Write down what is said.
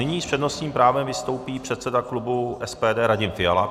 Nyní s přednostním právem vystoupí předseda klubu SPD Radim Fiala.